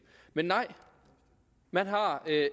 men nej man har